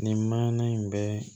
Nin maɲɛn in bɛ